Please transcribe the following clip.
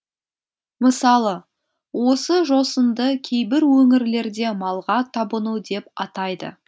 мысалы осы жосынды кейбір өңірлерде малға табыну деп атайды